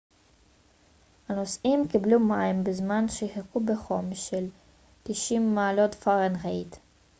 הנוסעים קיבלו מים בזמן שחיכו בחום של 90 מעלות פרנהייט